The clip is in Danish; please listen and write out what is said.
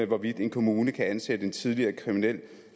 hvorvidt en kommune kan ansætte en tidligere kriminel